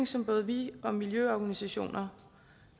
som både vi og miljøorganisationer